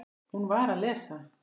Hún var að lesa